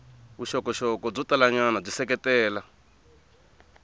vuxokoxoko byo talanyana byi seketela